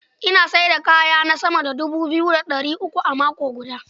Ina sayar da kayana sama da dubu biyu da ɗari uku a mako guda.